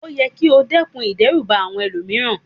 O yẹ ki o dẹ́kun ìdẹ́rùbà àwọn ẹlòmíràn